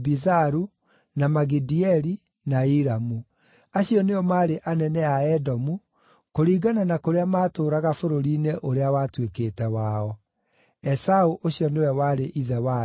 na Magidieli, na Iramu. Acio nĩo maarĩ anene a Edomu, kũringana na kũrĩa maatũũraga bũrũri-inĩ ũrĩa watuĩkĩte wao. Esaũ ũcio nĩwe warĩ ithe wa andũ a Edomu.